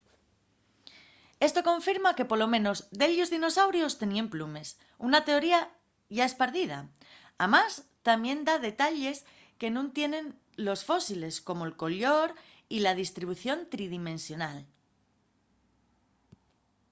esto confirma que polo menos dellos dinosaurios teníen plumes una teoría yá espardida amás tamién da detalles que nun tienen los fósiles como'l collor y la distribución tridimensional